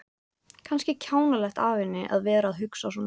Kannski kjánalegt af henni að vera að hugsa svona.